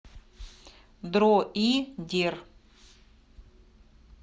дроидер